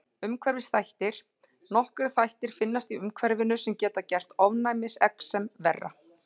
Umhverfisþættir: Nokkrir þættir finnast í umhverfinu sem geta gert ofnæmisexem verra.